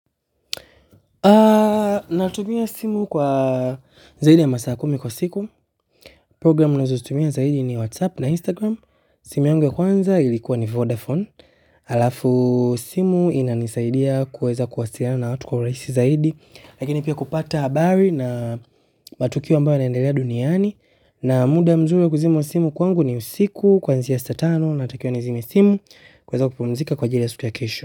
Na tumia simu kwa zaidi ya masaa kumi kwa siku. Programu nazo zitumia zaidi ni WhatsApp na Instagram. Simu yangu ya kwanza ilikuwa ni Vodafone. Alafu simu ina nisaidia kuweza kuwasiliana na watu kwa urahisi zaidi. Lakini pia kupata habari na matukio ambayo yanaendelea duniani na muda mzuri wa kuzima simu kwangu ni usiku kwanzi saa tano natakiwa nizime simu kuweza kupumzika kwa ajili ya siku ya kesho.